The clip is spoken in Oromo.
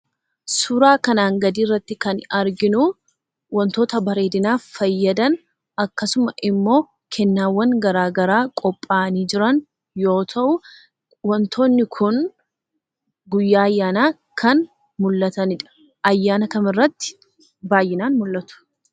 Suuraa kanaan gadii irratti kan arginuu wantoota bareedinaaf fayyadan akkasuma immoo kennaawwan garaa garaa qophaa'anii jiran yoo ta'uu wantoonni kun guyyaa ayyaanaa kan mul'atanidha. Ayyaana kamirratti baay'inaan mul'atu?